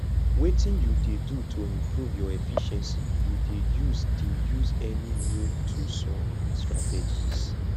wetin you dey do to improve your efficiency you dey use dey use any new toolsor strategies